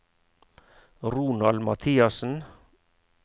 Ronald Mathiassen